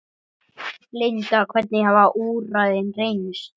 Linda, hvernig hafa úrræðin reynst?